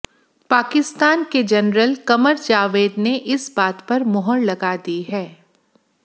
पाकिस्तान के जनरल कमर जावेद ने इस बात पर मुहर लगा दी है